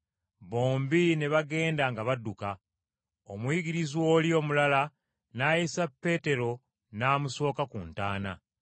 Bombi ne bagenda nga badduka, omuyigirizwa oli omulala n’ayisa Peetero n’amusooka ku ntaana.